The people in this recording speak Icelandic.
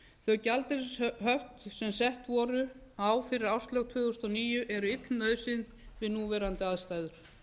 þau gjaldeyrishöft sem sett voru á fyrir árslok tvö þúsund og níu eru ill nauðsyn við núverandi aðstæður